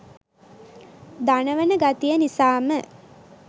දනවන ගතිය නිසාම.